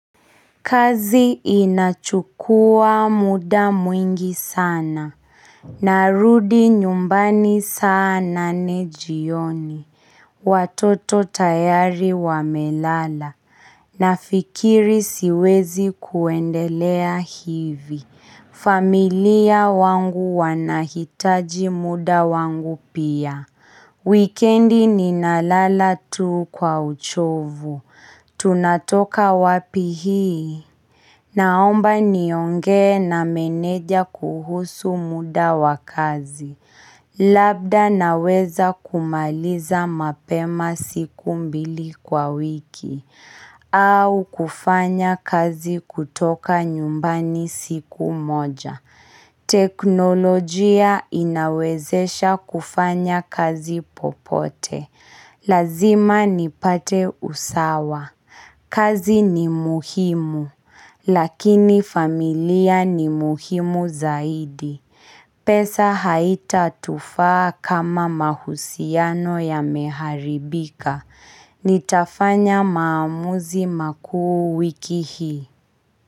Kazi inachukua muda mwingi sana. Narudi nyumbani saa nane jioni. Watoto tayari wamelala. Nafikiri siwezi kuendelea hivi. Familia wangu wanahitaji muda wangu pia. Wikendi ninalala tu kwa uchovu. Tunatoka wapi hii? Naomba niongee na meneja kuhusu muda wa kazi. Labda naweza kumaliza mapema siku mbili kwa wiki. Au kufanya kazi kutoka nyumbani siku moja. Teknolojia inawezesha kufanya kazi popote. Lazima nipate usawa. Kazi ni muhimu, lakini familia ni muhimu zaidi. Pesa haitatufaa kama mahusiano yameharibika. Nitafanya maamuzi makuu wiki hii.